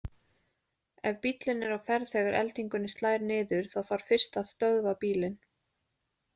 Ef bíllinn er á ferð þegar eldingunni slær niður þá þarf fyrst að stöðva bílinn.